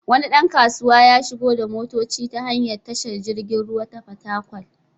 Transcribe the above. Wani ɗan kasuwa ya shigo da motoci ta hanyar tashar jirgin ruwa ta Fatakwal.